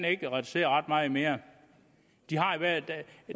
ikke kan reducere ret meget mere